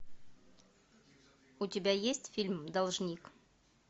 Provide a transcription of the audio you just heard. у тебя есть фильм должник